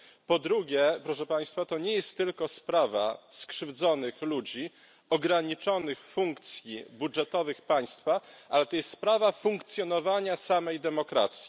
Po drugie, to nie jest tylko sprawa skrzywdzonych ludzi, ograniczonych funkcji budżetowych państwa, ale to jest sprawa funkcjonowania samej demokracji.